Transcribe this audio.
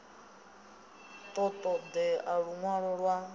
ḓo ṱo ḓea luṅwalo lwa